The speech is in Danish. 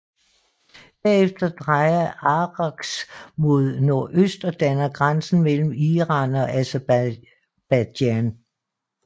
Derefter drejer Araks mod nordøst og danner grænsen mellem Iran og Aserbajdsjan